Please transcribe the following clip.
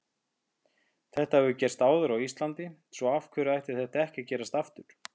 Þetta hefur gerst áður á Íslandi svo af hverju ætti þetta ekki að gerast aftur?